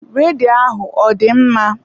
Redio ahụ ọ dị mma?